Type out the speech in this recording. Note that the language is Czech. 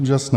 Úžasné.